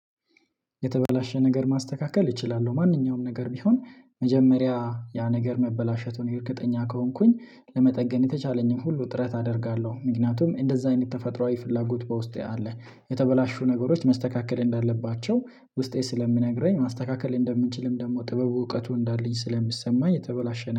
የተበላሸ ነገር ማስተካከል እችላለሁ ማንኛውም ነገር ቢሆን መጀመሪያ ያ ነገር መበላሸቱን የእርግጠኛ ከሆንኩኝ ለመጠገን የተቻለኝን ሁሉ ጥረት አደርጋለሁ ምክንያቱም እንደዛ አይነት ተፈጥሮአዊ ፍላጎት በውስጤ አለ። የተበላሹ ነገሮች መስተካከል እንዳለባቸው ውስጤ ስለሚነግረኝ ማስተካከል እንደምንችልም ደግሞ ጥበቡ እውቀቱ እንዳለኝ ስለሚሰማኝ የተበላሸነ